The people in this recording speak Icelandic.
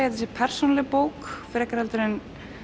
þetta sé persónuleg bók frekar heldur en